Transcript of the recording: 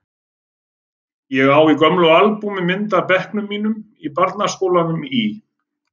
Ég á í gömlu albúmi mynd af bekknum mínum í barnaskólanum í